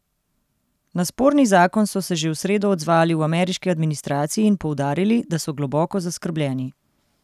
Na sporni zakon so se že v sredo odzvali v ameriški administraciji in poudarili, da so globoko zaskrbljeni.